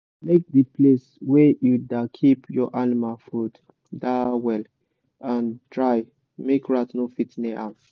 make the place wey you da keep your animal food da well and dry make rat no fit near am